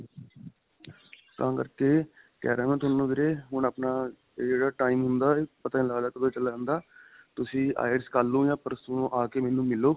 ਤਾਂ ਕਰਕੇ ਕਿਹ ਰਿਹਾਂ ਮੈਂ ਤੁਹਾਨੂੰ ਵੀਰੇ ਹੁਣ ਆਪਣਾ ਜਿਹੜਾ time ਹੁੰਦਾ ਇਹ ਪਤਾ ਨਹੀਂ ਲਗਦਾ ਕਦੋਂ ਚਲਿਆ ਜਾਂਦਾ ਤੁਸੀਂ IELTS ਕਰਲੋ ਜਾਂ ਪਰਸੋ ਆ ਕੇ ਮੈਨੂੰ ਮਿਲੋ.